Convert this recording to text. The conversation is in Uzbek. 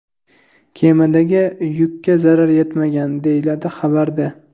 Kemadagi yukka zarar yetmagan”, deyiladi xabarda.